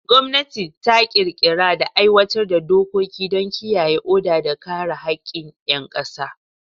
Gwamnati ta ƙirƙira da aiwatar da dokoki don kiyaye oda da kare haƙƙin ƴan ƙasa.